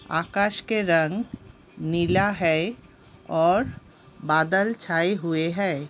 आकाश के रंग नीला है और बादल छाय हुए है।